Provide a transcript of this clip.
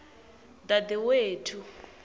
dadewethu